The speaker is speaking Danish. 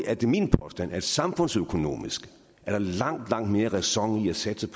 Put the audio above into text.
er det min påstand at der samfundsøkonomisk er langt langt mere ræson i at satse